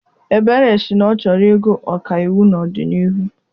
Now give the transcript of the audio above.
Ebere si na ọ chọrọ ịgụ ọkaiwu n'ọdịnihu.